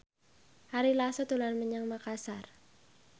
Ari Lasso dolan menyang Makasar